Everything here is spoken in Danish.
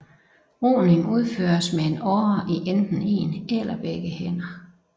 Roning udføres med en åre i enten en eller begge hænder